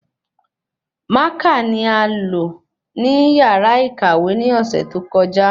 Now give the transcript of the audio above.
Mákà ni a lo ni yàrá ìkàwé ni ọsẹ tó kọjá